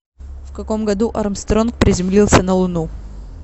в каком году армстронг приземлился на луну